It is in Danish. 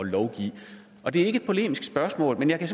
lovgive det er ikke et polemisk spørgsmål men jeg kan